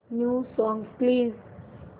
new songs please